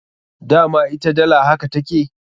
Dama ita dala haka take.